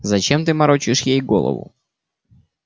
зачем ты морочишь ей голову